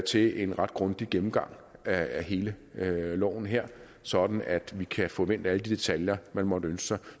til en ret grundig gennemgang af hele loven her sådan at vi kan få vendt alle de detaljer man måtte ønske sig